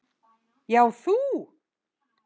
Já, þú!